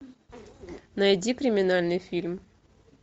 найди криминальный фильм